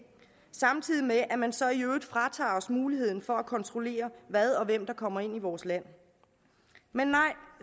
samtidig med at man så i øvrigt fratager os muligheden for at kontrollere hvad og hvem der kommer ind i vores land men nej